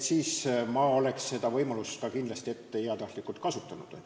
Ma oleksin seda võimalust kindlasti heatahtlikult kasutanud.